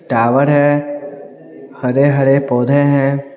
Tower है हरे हरे पौधे हैं।